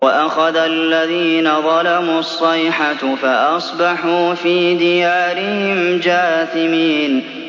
وَأَخَذَ الَّذِينَ ظَلَمُوا الصَّيْحَةُ فَأَصْبَحُوا فِي دِيَارِهِمْ جَاثِمِينَ